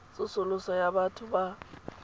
tsosoloso ya batho ba ba